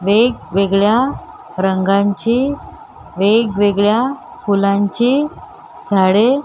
वेगवेगळ्या रंगांची वेगवेगळ्या फुलांची झाडे--